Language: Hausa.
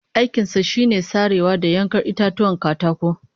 Aikin sa shine sarewa da yankar itatuwan katako